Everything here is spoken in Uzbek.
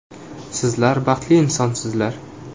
Sizlar baxtli insonsizlar.